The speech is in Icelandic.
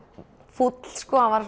fúll